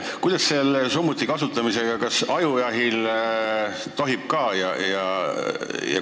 Kuidas selle summuti kasutamisega on, kas ka ajujahil seda tohib?